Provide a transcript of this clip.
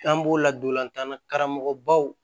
An b'o ladontan na karamɔgɔbaw